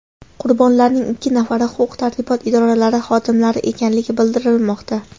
Qurbonlarning ikki nafari huquq-tartibot idoralari xodimlari ekanligi bildirilmoqda.